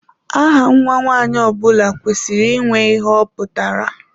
Aha Nwa nwanyị ọbula kwesịrị ịnwe ihe ọ pụtara.